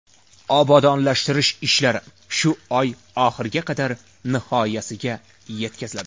Obodonlashtirish ishlari shu oy oxiriga qadar nihoyasiga yetkaziladi.